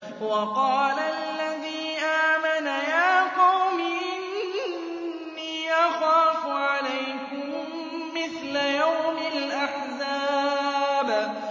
وَقَالَ الَّذِي آمَنَ يَا قَوْمِ إِنِّي أَخَافُ عَلَيْكُم مِّثْلَ يَوْمِ الْأَحْزَابِ